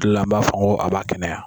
kila an b'a fɔ n ko a b'a kɛnɛya.